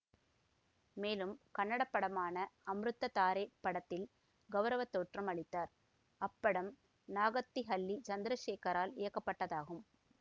மேலும் கன்னடப்படமான அம்ருத்ததாரே படத்தில் கௌரவத்தோற்றம் அளித்தார் அப்படம் நாகத்திஹல்லி சந்திரசேகரால் இயக்கப்பட்டதாகும்